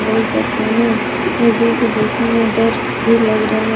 देखने में डर भी लग रहा है।